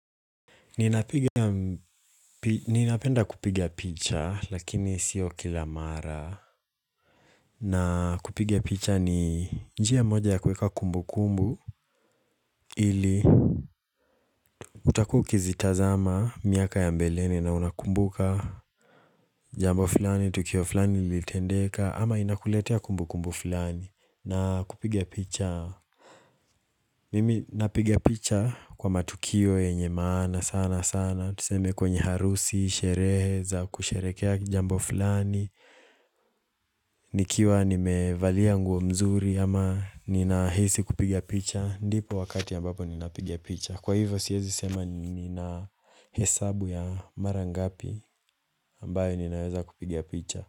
Ninapiga, ninapenda kupiga picha, lakini sio kila mara. Na kupiga picha ni njia moja ya kueka kumbukumbu, ili utakua ukizitazama miaka ya mbeleni na unakumbuka jambo fulani, tukio fulani lilitendeka, ama inakuletea kumbu kumbu fulani. Na kupiga picha Mimi napiga picha kwa matukio yenye maana sana sana Tuseme kwenye harusi, sherehe za, kusherehekea jambo fulani nikiwa nimevalia nguo mzuri ama ninahisi kupiga picha ndipo wakati ambapo ninapiga picha Kwa hivyo siezi sema nina hesabu ya mara ngapi ambayo ninaweza kupiga picha.